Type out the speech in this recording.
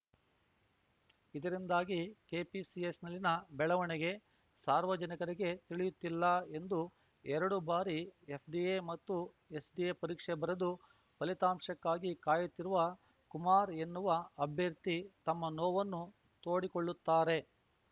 ಇದರಿಂದಾಗಿ ಕೆಪಿಎಸ್‌ಸಿಯಲ್ಲಿನ ಬೆಳವಣಿಗೆ ಸಾರ್ವಜನಿಕರಿಗೆ ತಿಳಿಯುತ್ತಿಲ್ಲ ಎಂದು ಎರಡು ಬಾರಿ ಎಫ್‌ಡಿಎ ಮತ್ತು ಎಸ್‌ಡಿಎ ಪರೀಕ್ಷೆ ಬರೆದು ಫಲಿತಾಂಶಕ್ಕಾಗಿ ಕಾಯುತ್ತಿರುವ ಕುಮಾರ್‌ ಎನ್ನುವ ಅಭ್ಯರ್ಥಿ ತಮ್ಮ ನೋವನ್ನು ತೋಡಿಕೊಳ್ಳುತ್ತಾರೆ